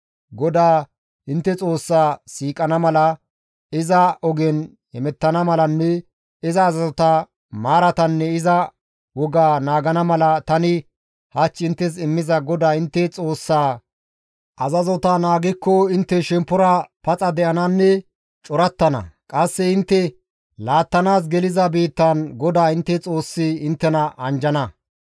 GODAA intte Xoossaa siiqana mala, iza ogen hemettana malanne iza azazota, maaratanne iza wogata naagana mala, tani hach inttes immiza GODAA intte Xoossaa azazota intte naagikko intte shemppora paxa de7ananne corattana; qasse intte laattanaas geliza biittan GODAA intte Xoossay inttena anjjana.